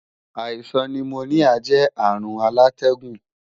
Àìsàn nimoníà jẹ́ àrùn alátẹ́gùn